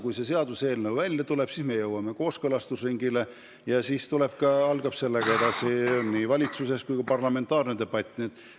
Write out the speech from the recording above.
Kui see seaduseelnõu välja tuleb, siis me jõuame kooskõlastusringile ja edasi algab nii valitsuses kui parlamendis debatt.